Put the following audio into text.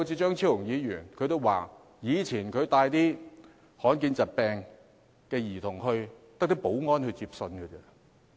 張超雄議員也說他以前帶罕見疾病兒童去遞信，只有保安人員接信。